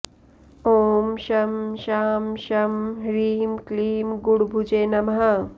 ॐ शं शां षं ह्रीं क्लीं गुडभुजे नमः